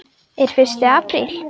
Er fyrsti apríl?